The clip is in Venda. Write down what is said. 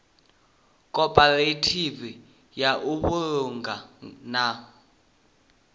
khophorethivi ya u vhulunga na